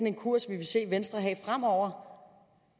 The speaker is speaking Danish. en kurs vi vil se venstre have fremover